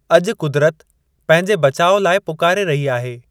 अॼु कुदिरत पंहिंजे बचाउ लाइ पुकारे रही आहे।